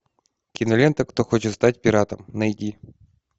кинолента кто хочет стать пиратом найди